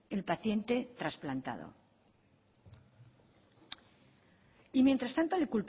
el paciente trasplantado y mientras tanto le